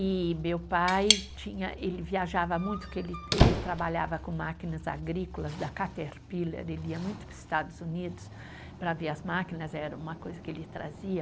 E meu pai tinha, ele viajava muito, porque ele ele trabalhava com máquinas agrícolas da Caterpillar, ele ia muito para os Estados Unidos para ver as máquinas, era uma coisa que ele trazia.